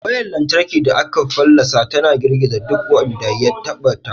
Wayar lantarki da aka fallasa tana girgiza duk wanda ya taɓa ta.